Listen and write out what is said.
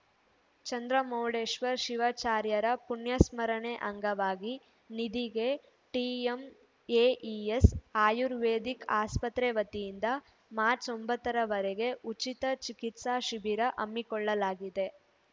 ಚಂದ್ರಮೌಳೇಶ್ವರ ಶಿವಾಚಾರ್ಯರ ಪುಣ್ಯಸ್ಮರಣೆ ಅಂಗವಾಗಿ ನಿದಿಗೆ ಟಿಎಂಎಇಎಸ್‌ ಆಯುರ್ವೇದಿಕ್‌ ಆಸ್ಪತ್ರೆ ವತಿಯಿಂದ ಮಾರ್ಚ್ ಒಂಬತ್ತರವರೆಗೆ ಉಚಿತ ಚಿಕಿತ್ಸಾ ಶಿಬಿರ ಹಮ್ಮಿಕೊಳ್ಳಲಾಗಿದೆ